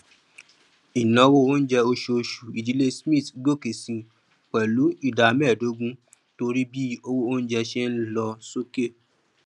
ináwó oúnjẹ oṣooṣù ìdílé smith gòkè sí pẹlú ìdá mẹẹdógún torí bí owó oúnjẹ ṣe ń lọ sókè